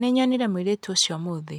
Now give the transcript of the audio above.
Nĩnyonire mũirĩtu ũcio ũmũthĩ.